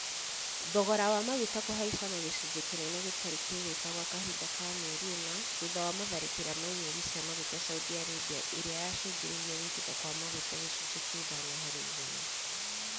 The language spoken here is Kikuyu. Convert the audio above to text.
Thogora wa maguta kũhaica na gĩcunnjĩ kinene gĩtarĩ kĩaiguĩka gwa kahinda ka mĩeri ĩna thutha wa matharĩkĩra ma inyuĩri cia maguta saudi Arabia ĩrĩa ya cungĩrĩirie gũitĩka kwa maguta gĩcunji kia ithano harĩ igana